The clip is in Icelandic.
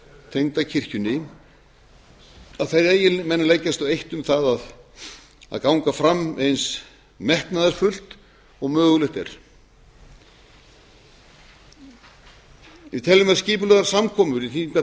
tengda kirkjunni að menn leggist á eitt um það að ganga fram eins metnaðarfullt og mögulegt er við teljum að skipulegar samkomur í